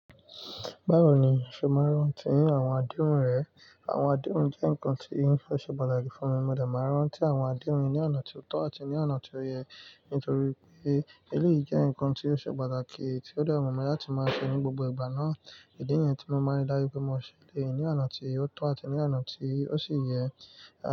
Báwo ni ìfẹ́ máa ń rántí àwọn àdéhùn rẹ̀? Àwọn àdéhùn jẹ́ nǹkan tí won fẹ́ ṣe pàtàkì fún mi. Mo dà máa ń rántí àwọn àdéhùn ní ọ̀nà tí ó tọ́ àti ní ọ̀nà tí ó yẹ, nítorí pé eléyìí jẹ́ nǹkan tí ó ṣe pàtàkì tí ó de wu mi láti máa ṣe ní gbogbo ìgbà náà. Ìdí ni yii tí mo máa ń darí pé mo ṣẹlẹ̀ ní ọ̀nà tí ó tọ́ àti ní ọ̀nà tí ó sì yẹ.